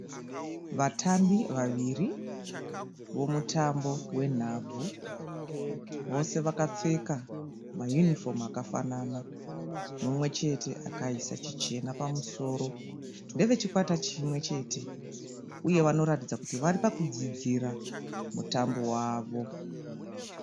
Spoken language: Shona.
Vatambi vaviri vomutambo wenhabvu. Vose vakapfeka mayunifomu akafanana. Mumwechete akaisa chichena pamusoro. Ndeve chikwata chimwe chete uye vanoratidza kuti vari pakudzidzira mutambo wavo.